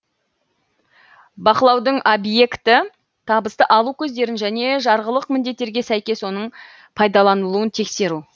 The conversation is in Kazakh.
бақылаудың объекті табысты алу көздерін және жарғылық міндеттерге сәйкес оның пайдаланылуын тексеру